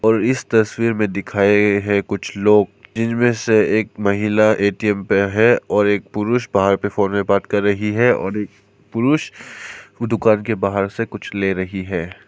और इस तस्वीर में दिखाएं हैं कुछ लोग इनमें से एक महिला ए_टी_एम पर है और एक पुरुष बाहर पर फोन में बात कर रही है और एक पुरुष दुकान के बाहर से कुछ ले रही है।